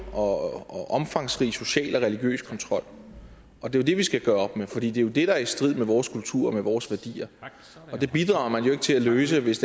og omfangsrig social og religiøs kontrol og det er det vi skal gøre op med for det er jo det der er i strid med vores kultur og med vores værdier det bidrager man jo ikke til at løse hvis